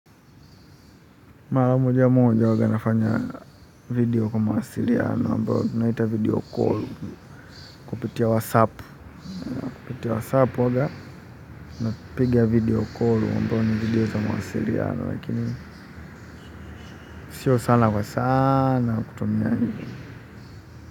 Mara moja moja huwaga nafanya video kwa mawasiliano ambayo tunaita video call kupitia wasapu. Kupitia wasapu huwaga napiga video call ambayo ni video za mawasiliano lakini sio sana kwa sana kutumia yaani.